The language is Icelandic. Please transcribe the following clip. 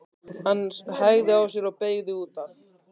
Hann hægði á sér og beygði út af.